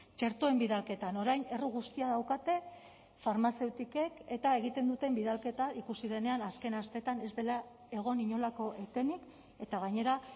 txertoen bidalketan orain erru guztia daukate farmazeutikek eta egiten duten bidalketa ikusi denean azken asteetan ez dela egon inolako etenik eta gainera